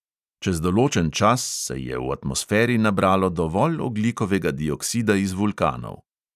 Čez določen čas se je v atmosferi nabralo dovolj ogljikovega dioksida iz vulkanov.